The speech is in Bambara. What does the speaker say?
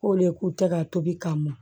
K'o le k'u tɛ ka tobi ka mɔ